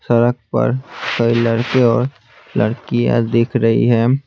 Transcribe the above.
सड़क पर कई लड़के और लड़कियाँ दिख रही हैं।